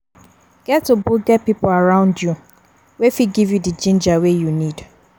Get ogboge pipo around you wey fit dey give you di ginger wey you need